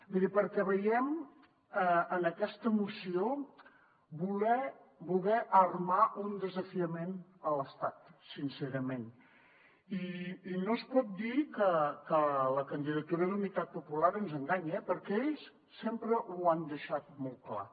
miri perquè veiem en aquesta moció voler armar un desafiament a l’estat sincerament i no es pot dir que la candidatura d’unitat popular ens enganya perquè ells sempre ho han deixat molt clar